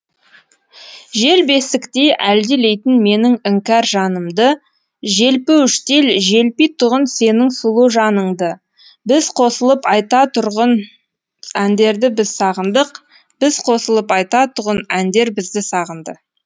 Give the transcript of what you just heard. жел бесіктей әлдилейтін менің іңкәр жанымды желпуіштей желпитұғын сенің сұлу жаныңды біз қосылып айтатұғын әндерді біз сағындық біз қосылып айтатұғын әндер бізді сағынды